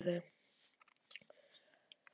Auðvitað er þetta allt saman truflandi fyrir þau.